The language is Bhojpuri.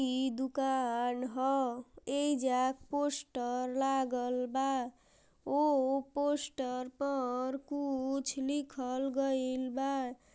ई दुकान ह ऐजा पोस्टर लागल बा उ पोस्टर पर कुछ लिखल गइल बा।